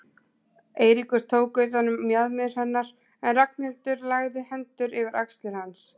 Eiríkur tók utan um mjaðmir hennar en Ragnhildur lagði hendurnar yfir axlir hans.